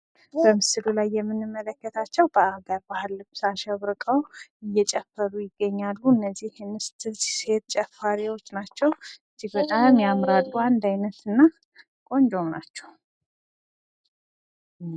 በምስሉ ላይ የምንመለከታቸው በአገር ባህል ልብስ አሸብርቀው እየጨፈሩ ይገኛሉ። እነዚህ ሴት ጨፋሪዎች ናቸው። እጅግ በጣም ያምራሉ። አንድ አይነትና ቆንጆም ናቸዉ።